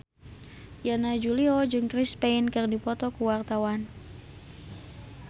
Yana Julio jeung Chris Pane keur dipoto ku wartawan